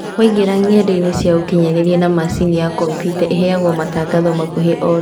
Waingĩra ng'endainĩ cia ũkinyanĩria na mashini ya kompyuta iheayagwo matangatho makũhĩ ororĩo